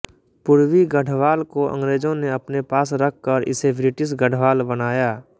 पूर्वी गढ़वाल को अंग्रेजों ने अपने पास रखकर इसे ब्रिटिश गढ़वाल बनाया